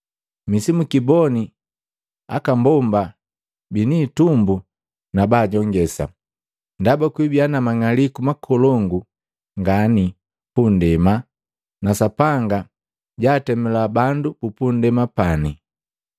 Misibikiboni aka mbomba biniitumbu na bajongesa! Ndaba kwibia na manga'aliku makolongu ngani pundema na Sapanga jaatemula bandu bu pundema pani.